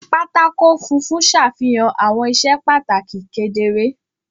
Pátákó funfun ṣàfihàn àwọn iṣẹ́ pàtàkì kedere.